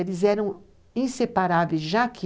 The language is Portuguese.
Eles eram inseparáveis, já que